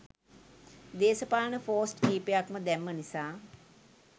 දේශපාලන පෝස්ට් කීපයක්ම දැම්ම නිසා